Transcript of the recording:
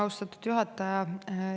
Austatud juhataja!